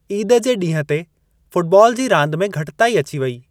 ईद जे ॾींहं ते, फ़ुटबॉल जी रांदि में घटिताई अची वेई।